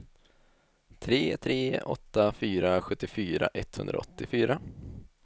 tre tre åtta fyra sjuttiofyra etthundraåttiofyra